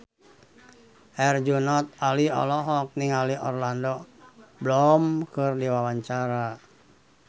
Herjunot Ali olohok ningali Orlando Bloom keur diwawancara